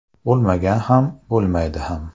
Bo‘lmagan ham, bo‘lmaydi ham.